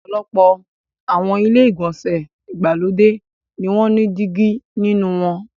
Ọ̀pọ̀lọpọ̀ àwọn ilé-ìgbọ̀nsẹ̀ ìgbàlódé ni wọ́n ní dígí nínú wọn.